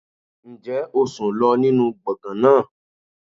Ǹjẹ́ o sùn lọ nínú gbọ̀ngàn náà?